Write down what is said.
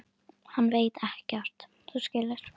Hann veit ekkert. þú skilur.